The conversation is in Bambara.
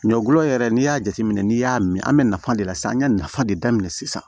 Ɲɔ gulɔ yɛrɛ n'i y'a jateminɛ n'i y'a min an bɛ nafa de lase an ye nafa de daminɛ sisan